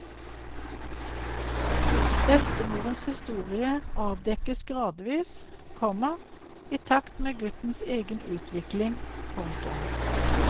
Bestemorens historie avdekkes gradvis, komma i takt med guttens egen utvikling. punktum